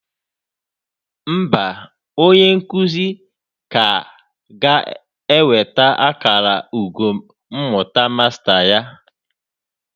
Mba, onye nkuzi ka ga-enweta akara ugo mmụta Masta ya.